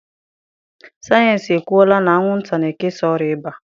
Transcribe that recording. Sayensị ekwuola na anwụnta na-ekesa ọrịa ịba.